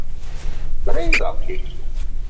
Breiðabliki